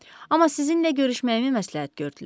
Amma sizinlə görüşməyimi məsləhət gördülər.